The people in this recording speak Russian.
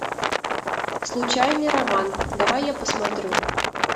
случайный роман давай я посмотрю